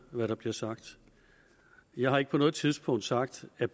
hvad der bliver sagt jeg har ikke på noget tidspunkt sagt at